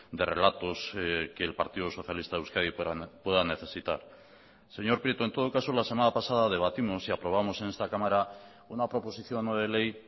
de relatos que el partido socialista de euskadi pueda necesitar señor prieto en todo caso la semana pasada debatimos y aprobamos en esta cámara una proposición no de ley